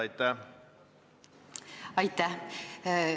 Aitäh!